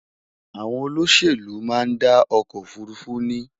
àwọn olóṣèlú má n dá ọkọ òfurufú ní